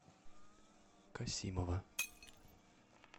касимова